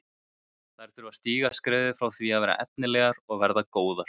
Þær þurfa að stíga skrefið frá því að vera efnilegar og verða góðar.